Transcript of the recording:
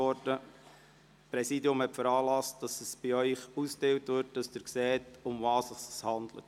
Das Präsidium hat veranlasst, dass Ihnen diese Gesetzesfahne ausgeteilt wird, damit Sie sehen, worum es sich handelt.